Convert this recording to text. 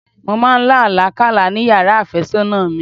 Mọ máa lá àlá kálá ni yàrá àfẹ́sọ́nà mi.